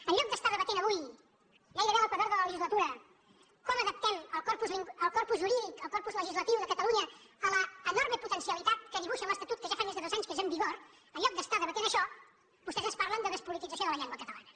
en lloc d’estar debatent avui gairebé a l’equador de la legislatura com adaptem el corpus jurídic el corpus legislatiu de catalunya a l’enorme potencialitat que dibuixa l’estatut que ja fa més de dos anys que és en vigor en lloc d’estar debatent això vostès ens parlen de despolitització de la llengua catalana